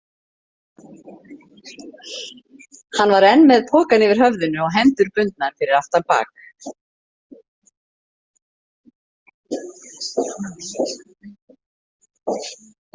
Hann var enn með pokann yfir höfðinu og hendur bundnar fyrir aftan bak.